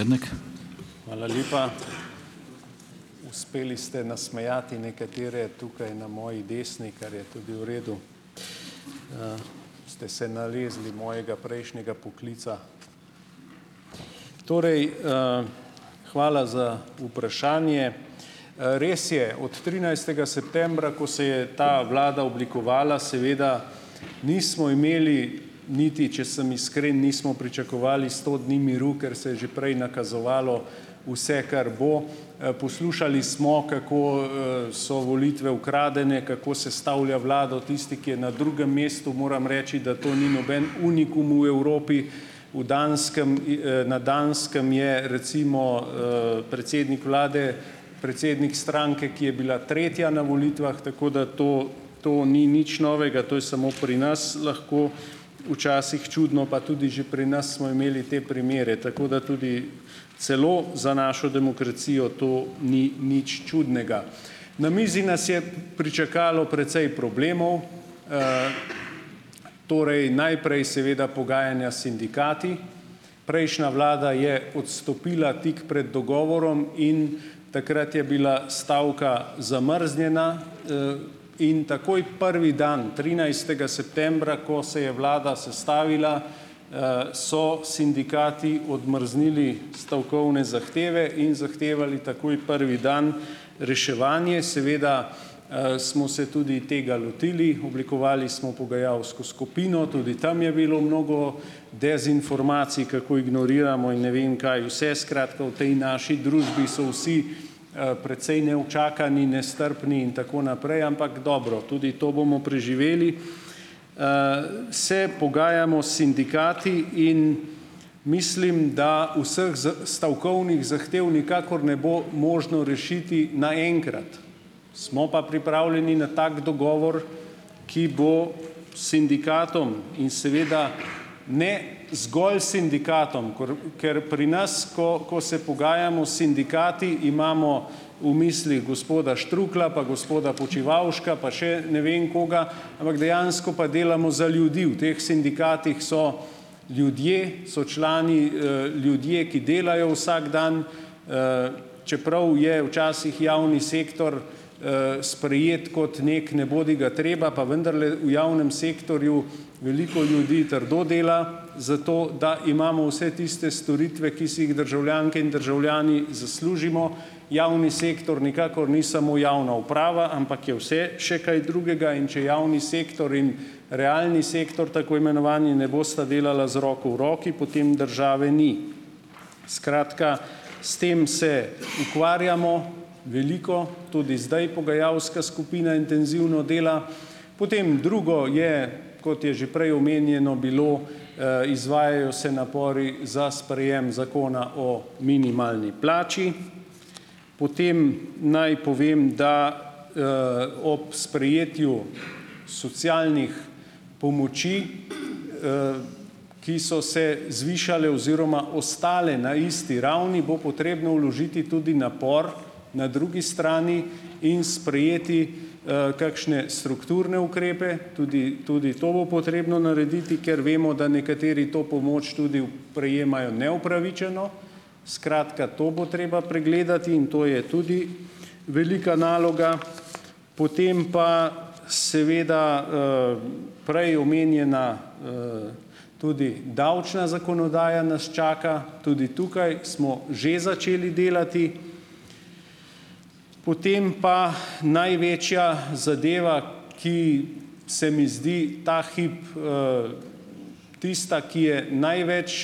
Hvala lepa. Uspeli ste nasmejati nekatere tukaj na moji desni, kar je tudi v redu. Ste se nalezli mojega prejšnjega poklica. Torej, hvala za vprašanje. Res je, od trinajstega septembra, ko se je ta vlada oblikovala, seveda, nismo imeli niti, če sem iskren, nismo pričakovali sto dni miru, ker se je že prej nakazovalo vse, kar bo. Poslušali smo, kako so volitve ukradene, kako sestavlja vlado tisti, ki je na drugem mestu. Moram reči, da to ni noben unikum v Evropi. V Danskem in na Danskem je, recimo predsednik vlade predsednik stranke, ki je bila tretja na volitvah, tako da to to ni nič novega. To je samo pri nas lahko včasih čudno, pa tudi že pri nas smo imeli te primere. Tako da tudi celo za našo demokracijo to ni nič čudnega. Na mizi nas je pričakalo precej problemov. Torej, najprej seveda pogajanja s sindikati. Prejšnja vlada je odstopila tik pred dogovorom in takrat je bila stavka zamrznjena. In takoj prvi dan, trinajstega septembra, ko se je vlada sestavila, so sindikati odmrznili stavkovne zahteve in zahtevali takoj prvi dan reševanje. Seveda smo se tudi tega lotili, oblikovali smo pogajalsko skupino, tudi tam je bilo mnogo dezinformacij, kako ignoriramo in ne vem kaj vse. Skratka, v tej naši družbi so vsi precej neučakani, nestrpni in tako naprej, ampak, dobro, tudi to bomo preživeli. Se pogajamo s sindikati in mislim, da vseh stavkovnih zahtev nikakor ne bo možno rešiti naenkrat. Smo pa pripravljeni na tak dogovor, ki bo sindikatom in seveda ne zgolj sindikatom, ker pri nas, ko ko se pogajamo s sindikati, imamo v mislih gospod Štruklja pa gospoda Počivavška pa še ne vem koga, ampak dejansko pa delamo za ljudi, v teh sindikatih so ljudje, so člani ljudje, ki delajo vsak dan, čeprav je včasih javni sektor sprejet kot neki nebodigatreba, pa vendarle, v javnem sektorju veliko ljudi trdo dela, zato da imamo vse tiste storitve, ki si jih državljanke in državljani zaslužimo. Javni sektor nikakor ni samo javna uprava, ampak je vse še kaj drugega. In če javni sektor in realni sektor, tako imenovani, ne bosta delala z roko v roki, potem države ni. Skratka, s tem se ukvarjamo veliko, tudi zdaj pogajalska skupina intenzivno dela. Potem drugo je, kot je že prej omenjeno bilo, izvajajo se napori za sprejem Zakona o minimalni plači. Potem naj povem, da ob sprejetju socialnih pomoči ,,#a ki so se zvišale oziroma ostale na isti ravni, bo potrebno vložiti tudi napor na drugi strani in sprejeti kakšne strukturne ukrepe, tudi tudi to bo potrebno narediti, ker vemo, da nekateri to pomoč tudi prejemajo neupravičeno. Skratka, to bo treba pregledati, in to je tudi velika naloga. Potem pa seveda prej omenjena tudi davčna zakonodaja nas čaka, tudi tukaj smo že začeli delati. Potem pa največja zadeva, ki se mi zdi ta hip tista, ki je največ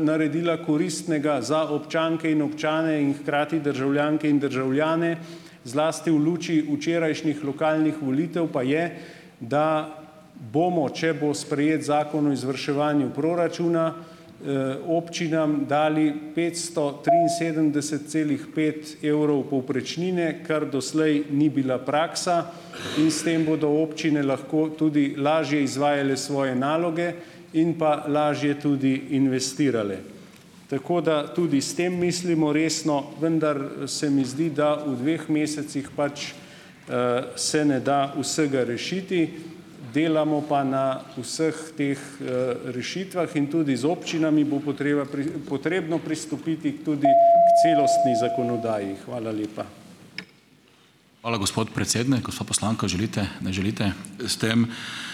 naredila koristnega za občanke in občane in hkrati državljanke in državljane, zlasti v luči včerajšnjih lokalnih volitev, pa je, da bomo, če bo sprejet Zakon o izvrševanju proračuna, občinam dali petsto triinsedemdeset celih pet evrov povprečnine, kar doslej ni bila praksa, in s tem bodo občine lahko tudi lažje izvajale svoje naloge in pa lažje tudi investirale. Tako da tudi s tem mislimo resno, vendar se mi zdi, da v dveh mesecih pač se ne da vsega rešiti. Delamo pa na vseh teh rešitvah, in tudi z občinami bo potreba potrebno pristopiti tudi k celostni zakonodaji. Hvala lepa.